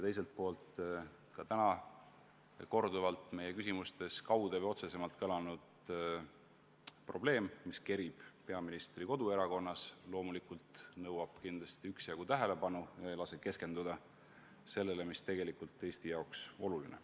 Teiselt poolt seetõttu, et täna korduvalt meie küsimustes kaude või otse kõlanud probleem, mis kerib peaministri koduerakonnas, nõuab loomulikult üksjagu tähelepanu ega lase keskenduda sellele, mis tegelikult on Eesti jaoks oluline.